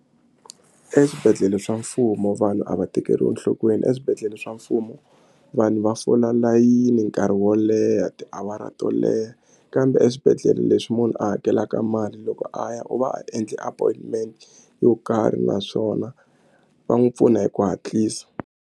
Eswibedhlele swa mfumo vanhu a va tekeriwi enhlokweni eswibedhlele swa mfumo vanhu va fola layini nkarhi wo leha tiawara to leha kambe eswibedhlele leswi munhu a hakelaka mali loko a ya u va a endli appointment yo karhi naswona va n'wi pfuna hi ku hatlisa.